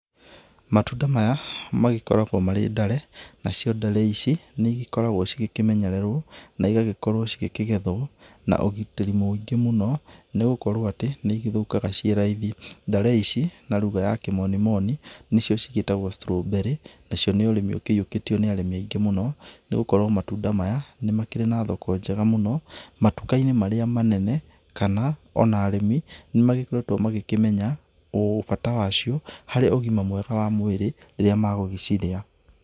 Matunda maya magĩkoragwo marĩ ndare, nacio ndare ici nĩ igĩkoragwo cigĩkĩmenyererwo na igagĩkorwo cigĩkĩgethwo na ũgĩtĩri mũingĩ mũno nĩ gũkorwo atĩ nĩ igĩthũkaga ci raithi. Ndare ici na rugha ya kimonimoni, nĩcio cigĩtagwo strawberry, nacio nĩ ũrĩmi ũkĩyũkĩtio nĩ arĩmi aingĩ mũno, nĩgũkorwo matunda maya nĩ makĩrĩ na thoko njega mũno matuka-inĩ marĩa manene mũno, kana ona arĩmi nĩ magĩkoretwo makĩmenya bata wacio hari ũgima mwega wa mwĩrĩ rĩrĩa magũgĩciria.